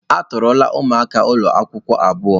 A tọọrọla ụmụaka ụlọ akwụkwọ abuo.